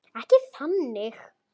Ekki þannig.